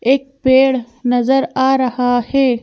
एक पेड़ नजर आ रहा है।